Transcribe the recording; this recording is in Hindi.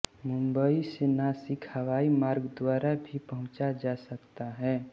मुंबई से नासिक हवाई मार्ग द्वारा भी पहुँचा जा सकता है